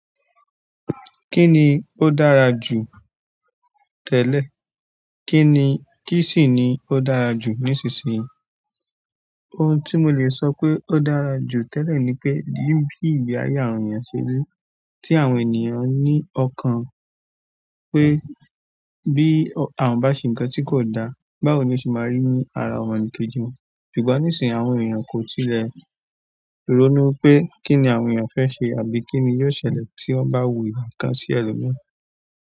Kí ni ó dára jù tẹ́lẹ̀, kí sì ni ó dára jù nísinsìnyí? Ohun tí mo lè sọ pé ó dára jù tẹ́lẹ̀ ni pé, iru ti ìgbé ayé àwọn eeyàn ṣe rí, tí àwọn ènìyàn ní ọkàn pé bí àwọn bá ṣe ǹkan tí kò da, báwo ni ó se máa rí ní ara ọmọnìkejì wọn. Ṣùgbọ́n nísìnyí, àwọn ènìyàn kò tilẹ̀ ronú pé kí ni àwọn eeyàn fẹ́ se àbí kí ni yóò ṣẹlẹ̀ tí wọ́n bá wùwà ǹkan sí ẹlòmíràn.